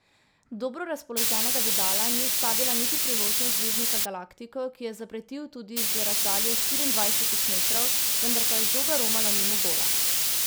Dobro razpoloženega Vidala ni ustavila niti priložnost zvezdnika galaktikov, ki je zapretil tudi z razdalje štiriindvajsetih metrov, vendar pa je žoga romala mimo gola.